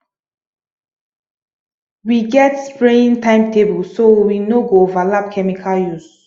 we get spraying timetable so we no go overlap chemical use